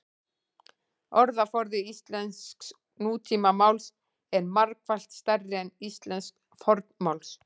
orðaforði íslensks nútímamáls er margfalt stærri en íslensks fornmáls